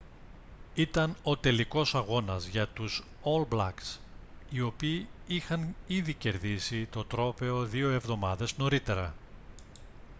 ήταν ο τελικός αγώνας για τους ολ μπλακς οι οποίοι είχαν ήδη κερδίσει το τρόπαιο δύο εβδομάδες νωρίτερα